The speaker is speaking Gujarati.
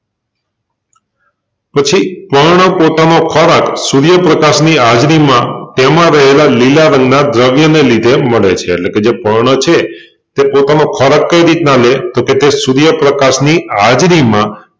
પછી પર્ણ પોતાનો ખોરાક સુર્યપ્રકાશ ની હાજરીમાં તેમાં રહેલાં લીલા રંગ ના દ્રવ્ય ને લીધે મળે છે એટલેકે જે પર્ણ છે તે પોતાનો ખોરાક કઈ રીતના લે તોકે તે સુર્યપ્રકાશ ની હાજરીમાં